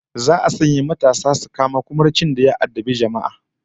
Za'a sanya matasa su tafi su kamo kumurcin da ya addabi jama'a